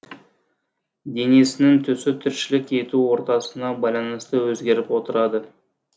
денесінің түсі тіршілік ету ортасына байланысты өзгеріп отырады